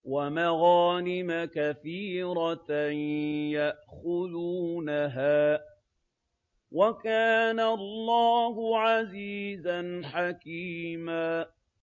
وَمَغَانِمَ كَثِيرَةً يَأْخُذُونَهَا ۗ وَكَانَ اللَّهُ عَزِيزًا حَكِيمًا